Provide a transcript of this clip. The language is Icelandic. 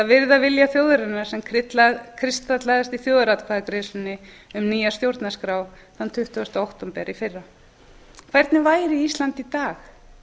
virða vilja þjóðarinnar sem kristallaðist í þjóðaratkvæðagreiðslunni um nýja stjórnarskrá þann tuttugasta október í fyrra hvernig væri ísland í dag